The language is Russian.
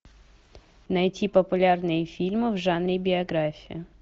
найти популярные фильмы в жанре биография